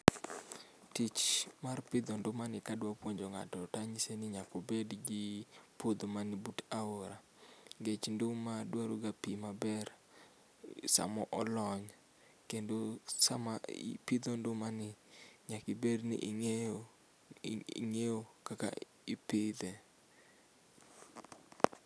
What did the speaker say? Tich mar pidho nduma ni kadwa puonjo ng'ato tanyise ni nyaka obed gi puodho mani but aora nikech nduma dwaro ga pii maber sama olony kendo sama ipidho nduma ni nyaka ibed ni ing'eyo, ing'eyo kaka ipidhe